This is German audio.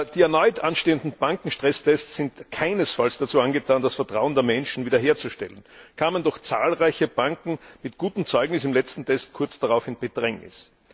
Die erneut anstehenden Bankenstresstests sind keinesfalls dazu angetan, das Vertrauen der Menschen wiederherzustellen, kamen doch zahlreiche Banken mit gutem Zeugnis im letzten Test kurz darauf in Bedrängnis.